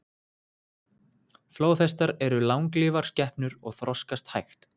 Flóðhestar eru langlífar skepnur og þroskast hægt.